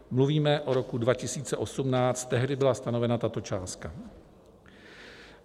Mluvíme o roku 2018, tehdy byla stanovena tato částka.